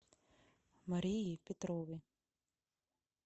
марии петровой